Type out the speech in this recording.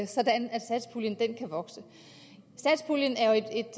sådan at satspuljen kan vokse satspuljen